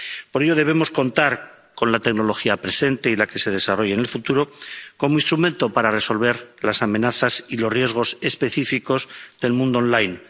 Por ello debemos contar con la tecnología presente y la que se desarrolle en el futuro como instrumento para resolver las amenazas y los riesgos específicos del mundo online.